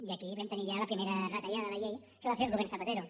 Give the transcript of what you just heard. i aquí vam tenir ja la primera retallada a la llei que va fer el govern zapatero